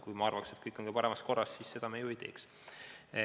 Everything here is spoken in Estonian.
Kui ma arvaks, et kõik on parimas korras, siis me seda ju ei teeks.